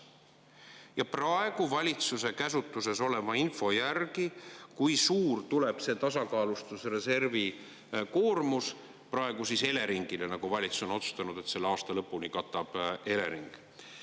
Ja praegu valitsuse käsutuses oleva info järgi, kui suur tuleb see tasakaalustusreservi koormus praegu Eleringile, nagu valitsus on otsustanud, et selle aasta lõpuni katab Elering.